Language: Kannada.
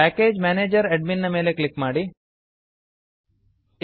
package manager package manager admin ನ ಮೇಲೆ ಕ್ಲಿಕ್ ಮಾಡಿ